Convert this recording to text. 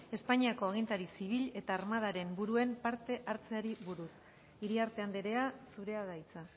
espainiako agintari zibil eta armadaren buruen parte hartzeari buruz iriarte andrea zurea da hitza